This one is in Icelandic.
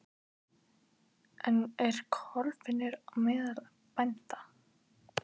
En er klofningur á meðal bænda?